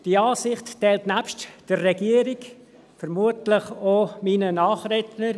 Diese Ansicht teilen nebst der Regierung vermutlich auch meine Nachredner.